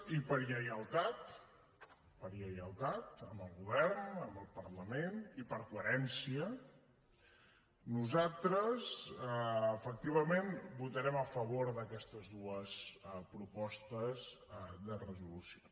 i per lleialtat per lleialtat amb el govern amb el parlament i per coherència nosaltres efectivament votarem a favor d’aquestes dues propostes de resolució